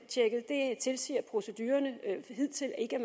det tilsiger procedurerne hidtil ikke